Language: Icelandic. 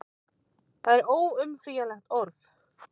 Það er óumflýjanlegt orð.